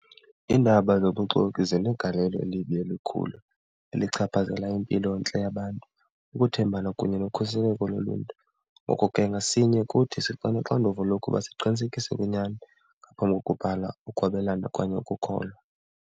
Iindaba zobuxoki zinegalelo elibi elikhulu elichaphazela impilontle yabantu, ukuthembana kunye nokhuseleko loluntu. Ngoko ke ngasinye kuthi siba noxanduva lokuba siqinisekise kwinyani ngaphambi kokubhala, ukwabelana okanye ukukholwa.